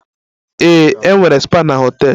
Ee, enwere spa na họtel.